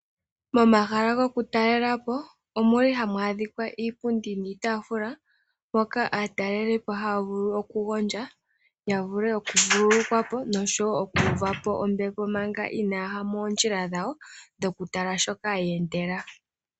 Momahala gokutalelapo omuli hamu adhika iipundi niitaafula moka aatalelipo haya vulu okugodja yavule okuvululu kwa po nosho wo okuvapo ombepo manga inaa ya ya moondjila dhawo dhoku tala shoka yeendela.